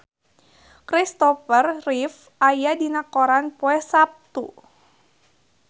Christopher Reeve aya dina koran poe Saptu